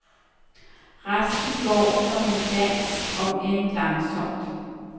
Resten går som en dans, om end langsomt.